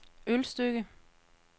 Ølstykke